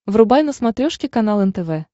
врубай на смотрешке канал нтв